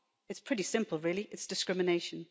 It's pretty simple really it's discrimination.